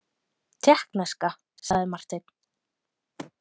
Tékkneska, sagði Marteinn.